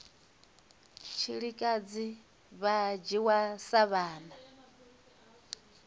tshilikadzi vha dzhiwa sa vhana